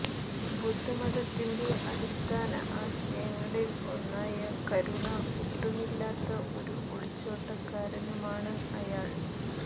ബുദ്ധമതത്തിന്റെ അടിസ്ഥാന ആശയങ്ങളിൽ ഒന്നായ കരുണ ഒട്ടുമില്ലാത്ത ഒരു ഒളിച്ചോട്ടക്കാരനുമാണ് അയാൾ